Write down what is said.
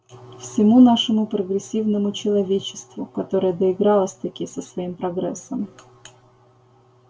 всему нашему прогрессивному человечеству которое доигралось-таки со своим прогрессом